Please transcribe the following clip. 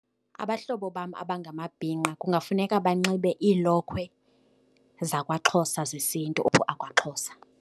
Abahlobo bam abangamabhinqa kungafuneka banxibe iilokhwe zakwaXhosa zesiNtu akwaXhosa.